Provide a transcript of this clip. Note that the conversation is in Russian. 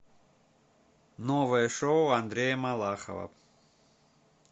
новое шоу андрея малахова